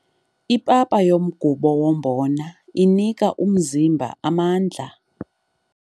Ipapa yomgubo wombona inika umzimba amandla.